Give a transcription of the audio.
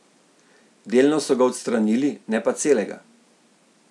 Delno so ga odstranili, ne pa celega.